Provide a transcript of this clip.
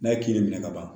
N'a ye kelen minɛ ka ban